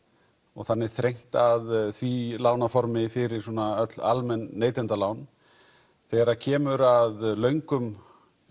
og þannig þrengt að því lánaformi fyrir öll almenn neytendalán þegar kemur að löngum